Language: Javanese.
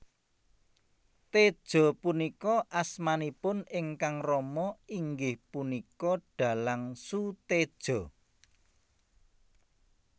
Tejo punika asmanipun ingkang rama inggih punika dhalang Soetedjo